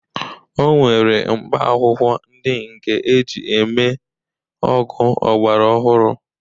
O nwere mkpaakwụkwọ ndị nke e ji mee ọgwụ ọgbaraọhụrụ